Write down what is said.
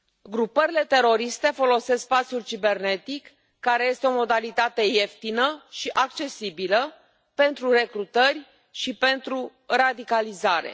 Grupările teroriste folosesc spațiul cibernetic, care este o modalitate ieftină și accesibilă pentru recrutări și pentru radicalizare.